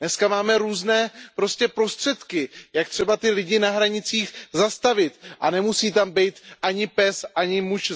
Dneska máme různé prostředky, jak ty lidi na hranicích zastavit a nemusí tam být ani pes, ani muž